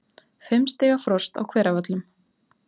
Fimm stiga frost á Hveravöllum